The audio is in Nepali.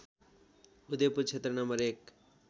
उदयपुर क्षेत्र नं १